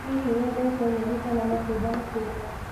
Hihi wendete nyeni kana matunda makĩria?